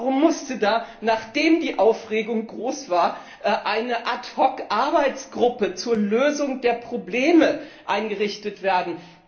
Warum musste da, nachdem die Aufregung groß war, eine Ad hoc Arbeitsgruppe zur Lösung der Probleme eingerichtet werden?